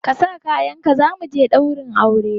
Ka sa kayanka za mu je ɗaurin aure!